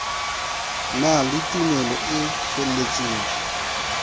na le tumelo e feletseng